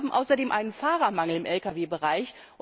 Wir haben außerdem einen Fahrermangel im Lkw Bereich.